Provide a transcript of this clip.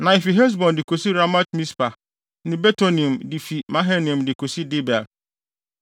Na efi Hesbon de kosi Ramat-Mispa ne Betonim de fi Mahanaim de kosi Debir.